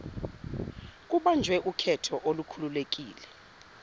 kubanjwe ukhetho olukhululekile